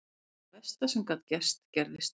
Það versta sem gat gerst gerðist.